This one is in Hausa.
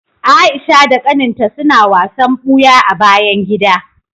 Aisha da kaninta suna wasan buya a bayan gida.